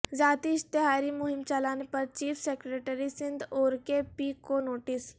ذاتی اشتہاری مہم چلانے پر چیف سیکرٹری سندھ اورکے پی کو نوٹس